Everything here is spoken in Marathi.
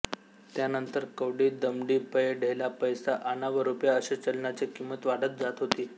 त्यानंतर कवडी दमडी पै ढेला पैसा आणा व रुपया असे चलनाची किंमत वाढत जात होती